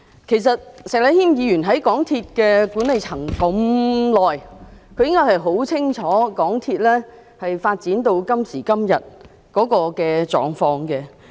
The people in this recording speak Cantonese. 其實，石禮謙議員在港鐵公司的管理層這麼久，他應該很清楚港鐵公司發展到今時今日的狀況。